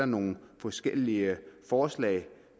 nogle forskellige forslag